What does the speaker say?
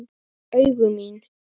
Augu mín.